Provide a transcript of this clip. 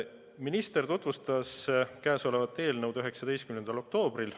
Minister tutvustas käesolevat eelnõu komisjonile 19. oktoobril.